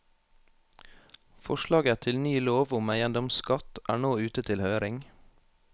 Forslaget til ny lov om eiendomsskatt er nå ute til høring.